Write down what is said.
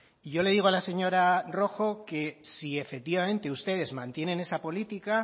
y yo le digo a la señora rojo que si efectivamente ustedes mantienen esa política